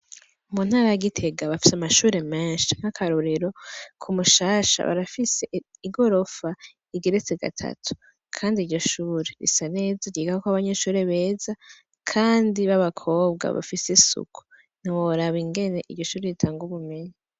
Muntara ya Gitega bafise amashure menshi nka karorero ku mushasha barafise igorofa igeretse gatatu kandi iryo shure risa neza ryigako abanyeshure beza kandi baba kobwa bafise isuku ntiworaba ingene iryoshure ritanga ubumenyi.